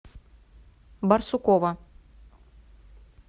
барсукова